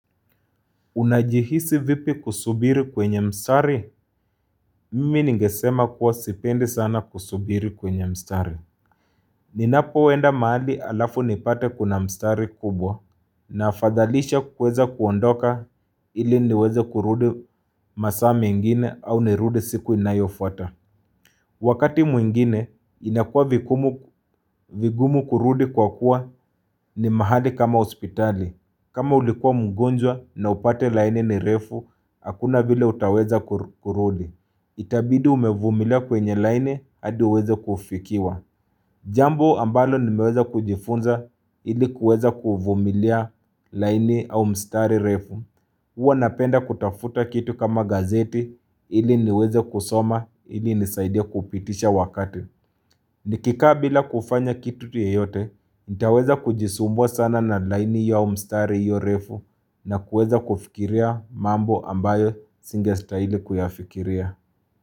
Unajihisi vipi kusubiri kwenye mstari, mimi nigesema kuwa sipendi sana kusubiri kwenye mstari. Ninapoenda mahali alafu nipate kuna mstari kubwa na afadhalisha kuweza kuondoka ili niweze kurudi masaa mengine au nirudi siku inayofuata. Wakati mwingine, inakua vigumu kurudi kwa kuwa ni mahali kama hospitali. Kama ulikuwa mgonjwa na upate laini ni refu, hakuna vile utaweza kurudi. Itabidi umevumilia kwenye laini, hadi uweze kufikiwa. Jambo ambalo nimeweza kujifunza ili kuweza kuvumilia laini au mstari refu. Huwa napenda kutafuta kitu kama gazeti ili niweze kusoma ili nisaidia kupitisha wakati. Nikikaa bila kufanya kitu yeyote, nitaweza kujisumbua sana na laini ya mstari iyo refu na kuweza kufikiria mambo ambayo singestahili kuyafikiria.